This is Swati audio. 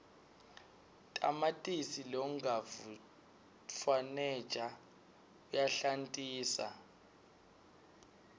tamatisi longavutfwaneja uyahlantisa